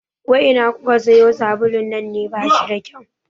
Wai ina kuka sayo sabulun nan ne, bashi da kyau